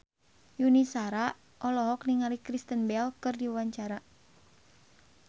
Yuni Shara olohok ningali Kristen Bell keur diwawancara